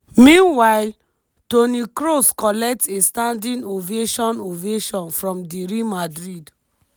meanwhile toni kross kollect a standing ovation ovation from di real madrid